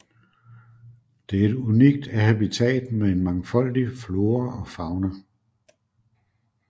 Det er et unikt habitat med en mangfoldig flora og fauna